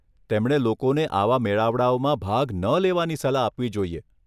તેમણે લોકોને આવા મેળાવડાઓમાં ભાગ ન લેવાની સલાહ આપવી જોઈએ.